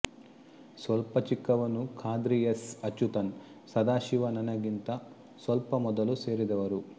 ಸ್ವಲ್ಪ ಚಿಕ್ಕವನು ಖಾದ್ರಿ ಎಸ್ ಅಚ್ಯುತನ್ ಸದಾಶಿವ ನನಗಿಂತ ಸ್ವಲ್ಪ ಮೊದಲು ಸೇರಿದವರು